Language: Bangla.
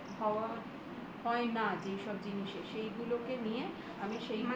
হয় না যেসব জিনিসে সেই গুলোকে নিয়ে আমি